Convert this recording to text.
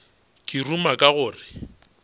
ke ruma ka go re